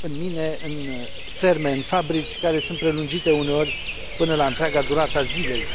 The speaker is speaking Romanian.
în mine, în ferme, în fabrici, care sunt prelungite uneori până la întreaga durată a zilei.